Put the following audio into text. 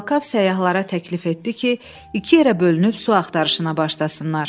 Talkav səyyahlara təklif etdi ki, iki yerə bölünüb su axtarışına başlasınlar.